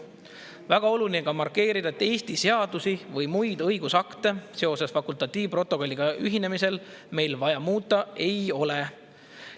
Väga oluline on ka markeerida, et Eesti seadusi või muid õigusakte seoses fakultatiivprotokolliga ühinemisega meil vaja muuta ei ole.